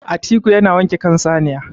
atiku yana wanke kan saniya